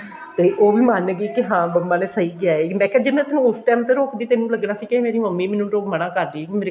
ਤੇ ਉਹ ਵੀ ਮੰਨ ਗਈ ਕਿ ਹਾਂ ਮੰਮਾ ਨੇ ਸਹੀ ਕਿਹਾ ਮੈਂ ਕਿਹਾ ਜੇ ਮੈਂ ਤੇਨੂੰ ਉਸ time ਤੇ ਰੋਕਦੀ ਤੇਨੂੰ ਲੱਗਣਾ ਸੀ ਕੇ ਮੇਰੀ ਮੰਮੀ ਮੈਨੂੰ ਮਨਾ ਕਰਦੀ